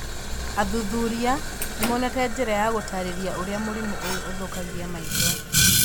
Athuthuria nĩmonete njĩra ya gũtarĩria ũrĩa mũrimũ ũyũ ũthũkagia maitho